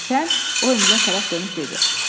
Və sən o Emilə tərəf dönüb dedi.